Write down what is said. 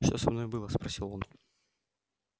что со мной было спросил он